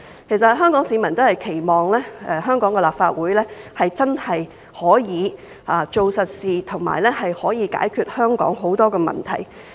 其實，香港市民都期望香港的立法會真的可以做實事，解決香港很多的問題。